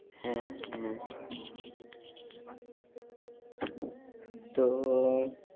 হ্যাঁ হ্যাঁ তো